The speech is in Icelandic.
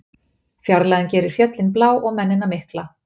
Fjarlægðin gerir fjöllin blá og mennina mikla.